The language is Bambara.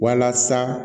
Walasa